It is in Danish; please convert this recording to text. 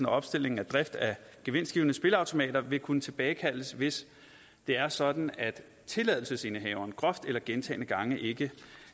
opstilling og drift af gevinstgivende spilleautomater vil kunne tilbagekaldes hvis det er sådan at tilladelsesindehaveren groft eller gentagne gange ikke